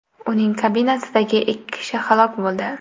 Uning kabinasidagi ikki kishi halok bo‘ldi.